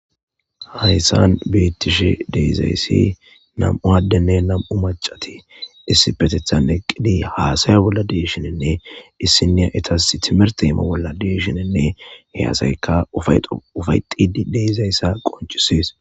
hayssan beettishe de'izayssi nam'u addenne nam'u macati issipetethan eqqidi haasaya bolla deeshininne issiniya itas timir teema bolla deeshininne heyasayka ay ufayetidi de'izayssa qoncisies